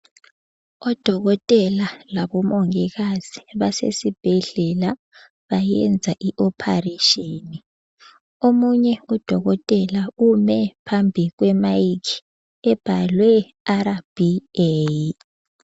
Odokotela labomongikazi basesibhedlela bayenza ioperation. Omunye udokotela ume phambi kwe mike ebhalwe RBA.